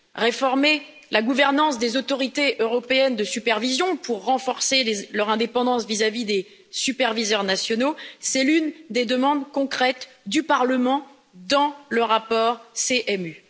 Réformer la gouvernance des autorités européennes de supervision pour renforcer leur indépendance vis à vis des superviseurs nationaux est l'une des demandes concrètes du Parlement dans le rapport sur l'UMC.